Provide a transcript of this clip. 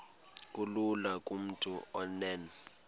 kulula kumntu onen